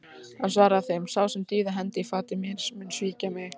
Hann svaraði þeim: Sá sem dýfði hendi í fatið með mér, mun svíkja mig.